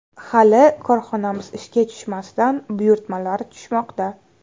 Hali korxonamiz ishga tushmasidan buyurtmalar tushmoqda.